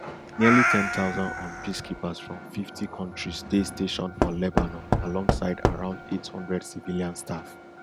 nearly ten thousand un peacekeepers from fifty kontris dey stationed for lebanon alongside around eight hundred civilian staff